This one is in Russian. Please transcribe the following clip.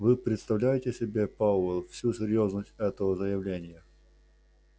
вы представляете себе пауэлл всю серьёзность этого заявления